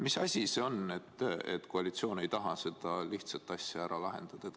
Mis asi see on, et koalitsioon ei taha seda lihtsat asja ära lahendada?